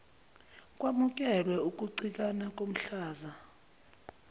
kwamukelwe ukucikana komhlaza